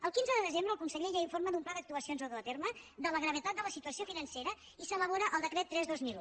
el quinze de desembre el conseller ja informa d’un pla d’actuacions a dur a terme de la gravetat de la situació financera i s’elabora el decret tres dos mil un